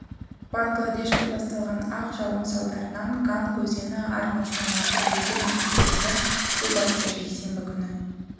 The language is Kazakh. бангладеште басталған ақ жауын салдарынан ганг өзені арнасынан асып елді мекендерді су басты жексенбі күні